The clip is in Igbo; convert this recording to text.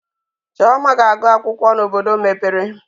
Chioma ga-agụ akwụkwọ n'obodo mepere.